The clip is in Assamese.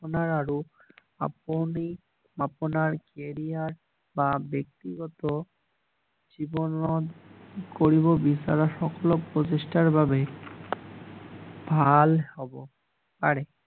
আপোনাৰ আৰু আপুনি আপোনাৰ কেৰিয়াৰ বা ব্যক্তিগত জীৱনত কৰিব বিচৰা সকলো প্ৰচেষ্টাৰ বাবে ভাল হব পাৰে